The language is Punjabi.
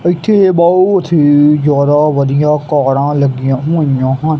ਇੱਥੇ ਬਹੁਤ ਹੀ ਜਿਆਦਾ ਵਧੀਆ ਕਾਰਾਂ ਲੱਗੀਆਂ ਹੋਈਆ ਹਨ।